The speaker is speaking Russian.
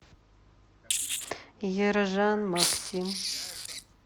ержан максим